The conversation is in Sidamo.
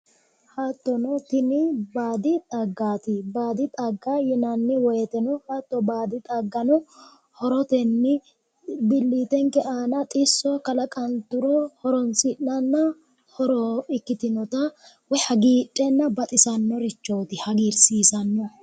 hattonno tini baadi xaggaati baadi xagga yinanni woyteno hatto baadi xagano horotenni billiitenke aana xisso kalaqanturo horoonsi'nanna horo ikkitinota hagiidhenna baxisannorichooti hagiirsiisanno.